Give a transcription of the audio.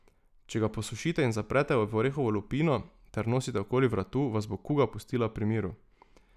Če ga posušite in zaprete v orehovo lupino ter nosite okoli vratu, vas bo kuga pustila pri miru.